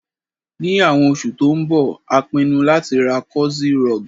Ní àwon osù tó n bo, a pinun láti ra cozy rug